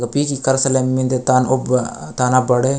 पीजी कर्सलेंम मिन्दे तान ओ ताना बड़े --